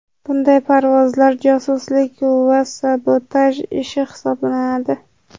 Bunday parvozlar josuslik va sabotaj ishi hisoblanadi.